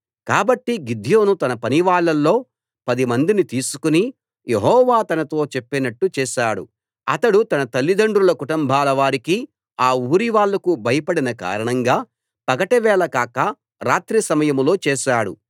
కాబట్టి గిద్యోను తన పనివాళ్ళలో పదిమందిని తీసుకుని యెహోవా తనతో చెప్పినట్టు చేసాడు అతడు తన తండ్రుల కుటుంబాల వారికి ఆ ఊరివాళ్ళకు భయపడిన కారణంగా పగటి వేళ కాక రాత్రి సమయంలో చేసాడు